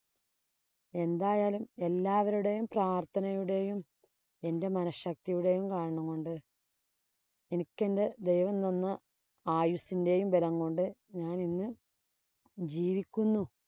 എന്തായാലും എല്ലാവരുടെയും പ്രാര്‍ത്ഥനയുടെയും, എന്‍റെ മനശക്തിയുടെയും കാരണം കൊണ്ട് എനിക്കെന്‍റെ ദൈവം തന്ന ആയുസിന്‍റെയും ബലം കൊണ്ട് ഞാനിന്ന് ജീവിക്കുന്നു.